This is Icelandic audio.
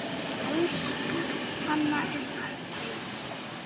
Elsku Hanna er farin heim.